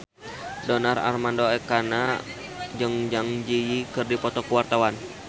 Donar Armando Ekana jeung Zang Zi Yi keur dipoto ku wartawan